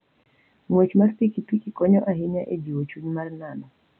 Ng'wech mar pikipiki konyo ahinya e jiwo chuny mar nano.